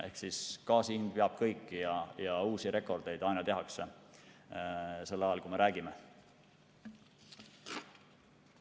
Ehk ka siin kõik jätkub ja uusi rekordeid aina tehakse, ka sel ajal, kui me räägime.